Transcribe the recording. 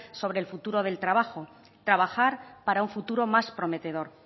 sobre el futuro del trabajo trabajar para un futuro más prometedor